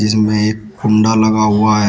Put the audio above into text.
इसमें एक कुंडा लगा हुआ है।